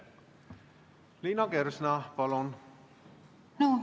Liina Kersna, palun!